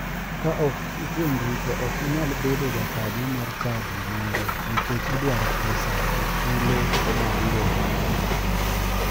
Ka ok ituonri to ok inyal bedo jakanyo mar chadi moro nikech idwaro pesa e thulo ma uromo.